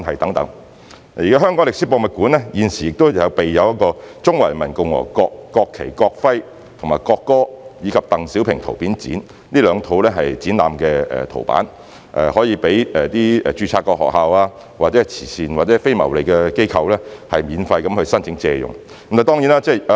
此外，香港歷史博物館現時有"中華人民共和國國旗、國徽、國歌展"及"鄧小平圖片展"這兩套展覽圖板，可供註冊學校或慈善或非牟利機構免費申請借用。